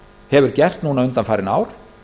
hefur gert núna undanfarin ár